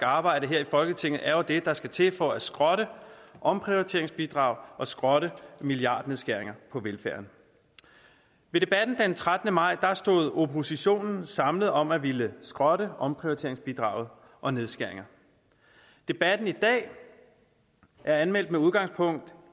arbejde her i folketinget er jo det der skal til for at skrotte omprioriteringsbidrag og skrotte milliardnedskæringerne på velfærden ved debatten den trettende maj stod oppositionen samlet om at ville skrotte omprioriteringsbidraget og nedskæringerne debatten i dag er anmeldt med udgangspunkt